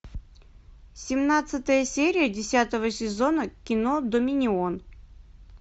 семнадцатая серия десятого сезона кино доминион